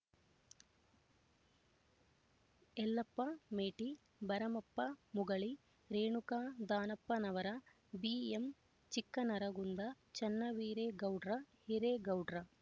Yellappa Meti Baramappa Mugali Renuka Danappanavar BM Chikkanaragunda Channaveeragoudra Hiregoudra